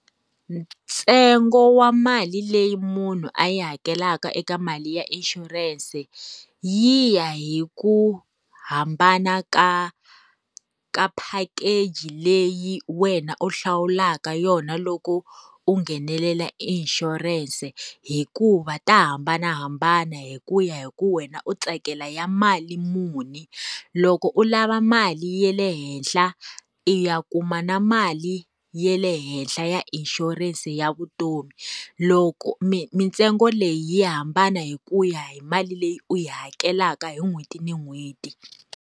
Ntsengo wa mali leyi munhu a yi hakelaka eka mali ya insurance, yi ya hi ku hambana ka ka package leyi wena u hlawulaka yona loko u nghenelela insurance hikuva to hambanahambana hi ku ya hi ku wena u tsakela ya mali muni. Loko u lava mali ya le henhla, i ya kuma na mali ya le henhla ya insurance ya vutomi. Loko mintsengo leyi yi hambana hi ku ya hi mali leyi u yi hakelaka hi n'hweti na n'hweti.